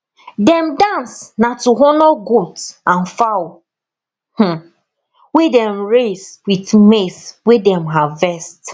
dem dance na to honour goat and fowl um wey dem raise with maize wey dem harvest